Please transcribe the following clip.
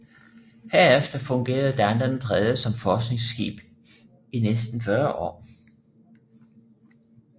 Herefter fungerede Dana III som forskningsskib i næsten 40 år